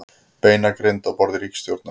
Beinagrind á borði ríkisstjórnar